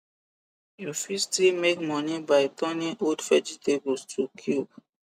u fit still make money by turning old vegetables to cube